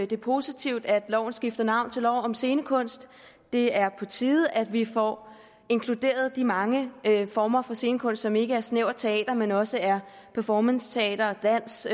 det er positivt at loven skifter navn til lov om scenekunst det er på tide at vi får inkluderet de mange former for scenekunst som ikke er snævert teater men også er performanceteater dans